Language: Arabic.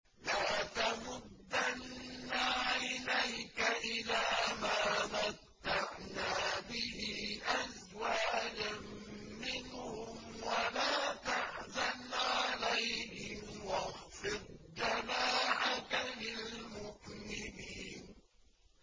لَا تَمُدَّنَّ عَيْنَيْكَ إِلَىٰ مَا مَتَّعْنَا بِهِ أَزْوَاجًا مِّنْهُمْ وَلَا تَحْزَنْ عَلَيْهِمْ وَاخْفِضْ جَنَاحَكَ لِلْمُؤْمِنِينَ